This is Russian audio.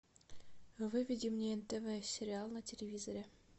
выведи мне нтв сериал на телевизоре